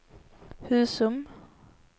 Husum